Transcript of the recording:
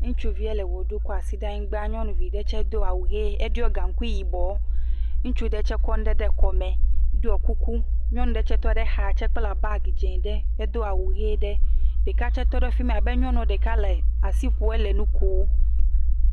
Ŋutsuvia le ʋe ɖum tso asi da ɖe anyigba, nyɔnuvi ɖe tsɛ do awu ʋi. Eɖɔ gaŋkui yibɔ. Ŋutsu ɖe tsɛ kɔ nu ɖe kɔme ɖɔ kuku. Nyɔnu ɖe tsɛ tɔ ɖe xa tsɛ kpla bagi dzɛ̃ aɖe hedo awu ʋie ɖe. Ɖeka tsɛ tɔ ɖe afi ma abe nyɔnu ɖeka le asi ƒom hele nu kom